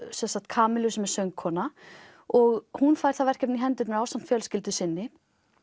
Kamillu sem er söngkona og hún fær það verkefni í hendurnar ásamt fjölskyldu sinni